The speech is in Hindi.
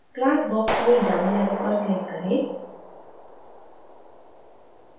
class box में down arrow पर click करें